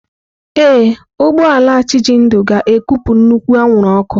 Ee, ụgbọ ala Chijindu ga-ekupụ nnukwu anwụrụ ọkụ.